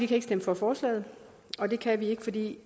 kan stemme for forslaget og det kan vi ikke fordi